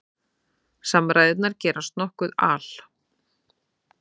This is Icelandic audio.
Samræðurnar gerast nokkuð al